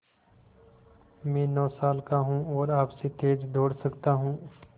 मैं नौ साल का हूँ और आपसे तेज़ दौड़ सकता हूँ